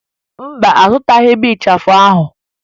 Mba, azụtaghị m ịchafụ ahụ